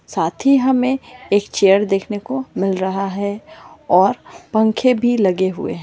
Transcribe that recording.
साथ ही हमें एक चेयर देखने को मिल रहा है और पंखे भी लगे हुए हैं।